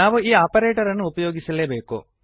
ನಾವು ಈ ಆಪರೇಟರನ್ನು ಉಪಯೋಗಿಸಲೇಬೇಕು